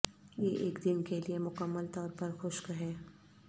یہ ایک دن کے لئے مکمل طور پر خشک ہے